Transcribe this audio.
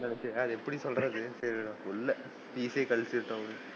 நெனைச்சன் sir எப்படி சொல்றதுன்னு தெரியனும் full ஆ easy ஆ கழட்டி